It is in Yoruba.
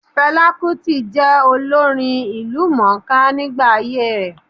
Fẹlá Kútì jẹ́ olórin ìlúmọ̀-ọ́n-ká nígbà ayé ẹ̀.